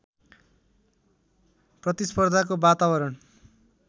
प्रतिस्पर्धाको वातावरण